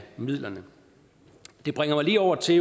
midlerne det bringer mig lige over til